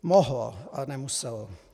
Mohlo, ale nemuselo.